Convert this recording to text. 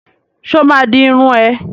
Sọ ma di irun ẹ?